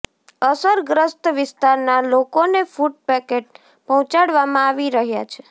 અસરગ્રસ્ત વિસ્તારના લોકોને ફૂટ પેકેટ પહોંચાડવામાં આવી રહ્યા છે